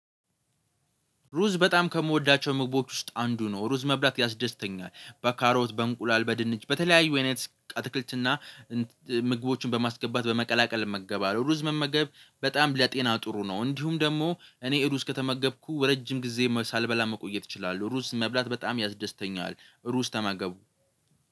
ሩዝ በጣም ከምወዳቸው ምግቦች ውስጥ አንዱ ነው። ሩዝ መብላት ያስደስተኛል በካሮት በእንቁላል በድንች በተለያዩ አይነት አትክልትና ምግቦችን በማስገባት በመቀላቀል እመገባለሁ። ሩዝ መመገብ በጣም ለጤና ጥሩ ነው። እንዲሁም ደግሞ እኔ ሩዝ ከተመገብኩ ረጅም ጊዜ ሳልበላ መቆየት እችላለሁ። ሩስ መብላት በጣም ያስደስተኛል ሩስ ተመገቡ